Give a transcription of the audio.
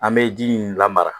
An bɛ ji in lamara